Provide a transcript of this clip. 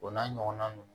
O n'a ɲɔgɔnna ninnu